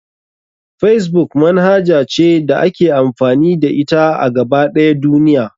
Facebook manhaja ce da ake amfani da ita a gaba ɗaya duniya.